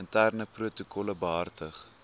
interne protokolle behartig